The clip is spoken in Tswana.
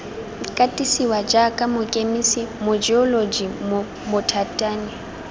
katisiwa jaaka mokemise mojeoloji mobothani